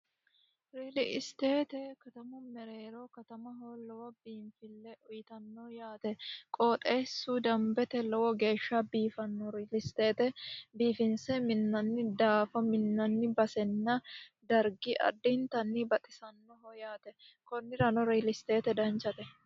Reale state katamu mereero katama lowo biinfile uyittano yaate qooxxeesu dambete lowo geeshsha biifano real state biifinse minani daafo minanni basenna dargi addittanni baxisanoho yaate konnirano real state danchate.